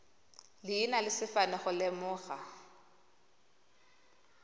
leina le sefane go lemoga